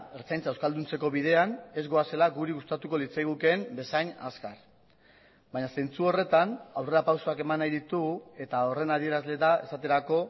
ertzaintza euskalduntzeko bidean ez goazela guri gustatuko litzaigukeen bezain azkar baina zentzu horretan aurrerapausoak eman nahi ditu eta horren adierazle da esaterako